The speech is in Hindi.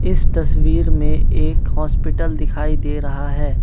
इस तस्वीर में एक हॉस्पिटल दिखाई दे रहा है।